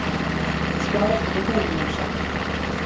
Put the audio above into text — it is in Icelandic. skáp á þjóðminjasafni.